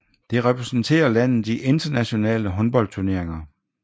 Det repræsenterer landet i internationale håndboldturneringer